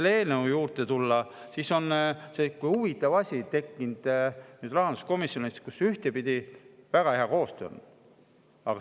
Kui selle eelnõu juurde tulla, siis on selline huvitav asi tekkinud rahanduskomisjonis, kus muidu on väga hea koostöö.